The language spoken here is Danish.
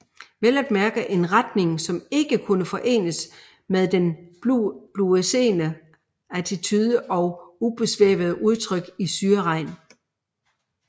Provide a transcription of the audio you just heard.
Vel at mærke en retning som ikke kunne forenes med den bluesede attitude og udsvævende udtryk i Syreregn